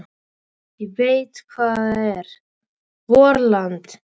Ég veit hvað það heitir: VORLAND!